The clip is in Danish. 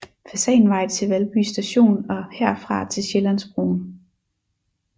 Fasanvej til Valby Station og herfra til Sjællandsbroen